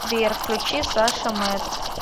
сбер включи саша мэд